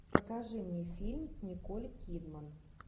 покажи мне фильм с николь кидман